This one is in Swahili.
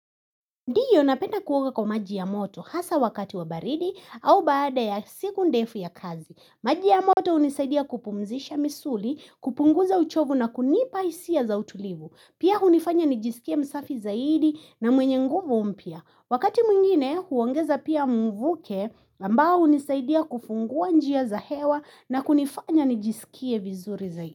Ndiyo napenda kuoga kwa maji ya moto hasa wakati wa baridi au baada ya siku ndefu ya kazi. Maji ya moto hunisaidia kupumzisha misuli, kupunguza uchovu na kunipa hisia za utulivu. Pia hunifanya nijisikie msafi zaidi na mwenye nguvu mpya. Wakati mwingine huongeza pia mvuke ambao hunisaidia kufungua njia za hewa na kunifanya nijisikie vizuri zaidi.